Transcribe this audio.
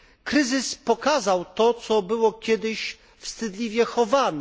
Kryzys pokazał to, co było kiedyś wstydliwie chowane.